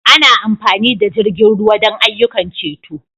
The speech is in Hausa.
Ana amfani da jirgin ruwa don ayyukan ceto.